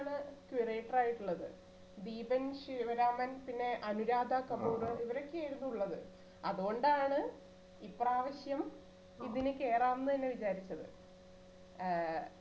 ആയിട്ടുള്ളത് ദീപൻ ശിവരാമൻ പിന്നെ അനുരാധ കപൂറ് ഇവരൊക്കെ ആയിരുന്നു ഉള്ളത് അതുകൊണ്ടാണ് ഇപ്രാവശ്യം ഇതിന് കേറാന്ന് തന്നെ വിചാരിച്ചത് ആ